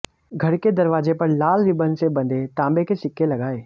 घर के दरवाजे पर लाल रिबन से बंधे तांबे के सिक्के लगाएं